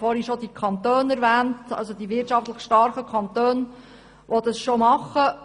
Ich habe zuvor schon die wirtschaftlich starken Kantone erwähnt, die das bereits machen.